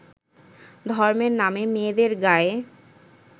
ধর্মের নামে মেয়েদের গায়ে